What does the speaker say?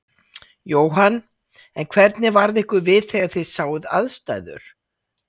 Jóhann: En hvernig varð ykkur við þegar þið sáuð aðstæður?